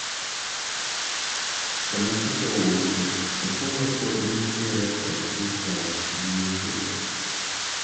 kama picha owuoke, Opolo pod nitiere kod ich wang' gi weche go